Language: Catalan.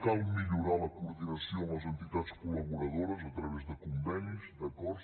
cal millorar la coordinació amb les entitats col·laboradores a través de convenis d’acords